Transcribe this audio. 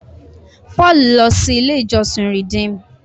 Paul lọ sí ilé ìjósìn Redeem.